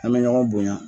An bɛ ɲɔgɔn bonya